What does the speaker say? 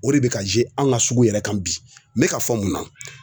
O de bɛ ka an ka sugu yɛrɛ kan bi. N be ka fɔ mun na